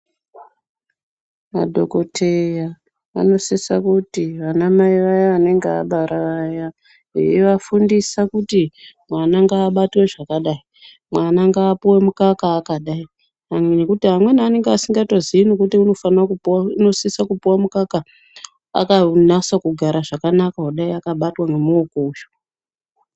Madhokoteya anosisa kuti vana Mai vayani vanenge vabara vaya veivafundisa kuti mwana babatwe zvakadai mwana ngaapuwe mukaka akadai kunyanya nyanya amweni anenge asikayozii kuti unosisa kupuwa mukaka akanasa kugara zvakanaka kudai akabatwa ngemuoko uyu.